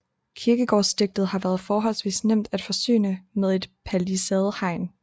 Kirkegårdsdiget har været forholdsvis nemt at forsyne med et palisadehegn